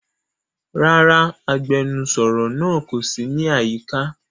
Rara, agbẹnusọro naa ko si ni ayika.